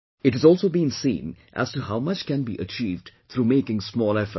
It has also been seen as to how much can be achieved through making small efforts